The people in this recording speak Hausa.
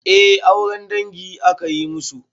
Eh auren dangi aka yi musu.